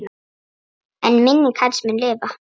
En minning hans mun lifa.